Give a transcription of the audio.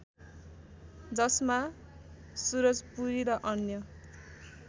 जसमा सुरजपुरी र अन्य